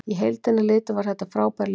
Í heildina litið var þetta frábær leikur.